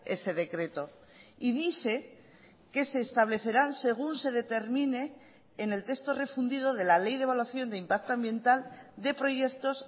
ese decreto y dice que se establecerán según se determine en el texto refundido de la ley de evaluación de impacto ambiental de proyectos